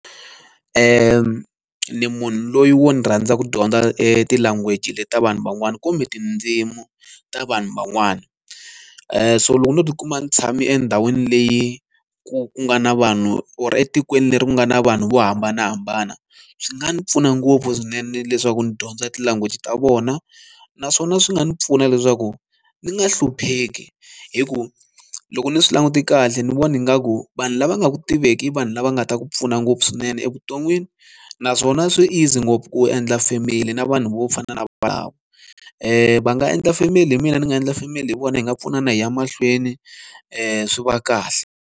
ni munhu loyi wo ni rhandzaka dyondza ti-language leti vanhu van'wani kumbe tindzimi ta vanhu van'wana so loko no tikuma ni tshame endhawini leyi ku ku nga na vanhu or etikweni leri ku nga na vanhu vo hambanahambana swi nga ni pfuna ngopfu swinene leswaku ndzi dyondza ti-language ta vona naswona swi nga ndzi pfuna leswaku ni nga hlupheki hi ku loko ni swi langute kahle ni vona swi nga ku vanhu lava nga ku tiveki vanhu lava nga ta ku pfuna ngopfu swinene evuton'wini naswona swi easy ngopfu ku endla family na vanhu vo fana na vanhu lava va nga endla family hi mina ni nga endla family hi vona hi nga pfunana hi ya mahlweni swi va kahle.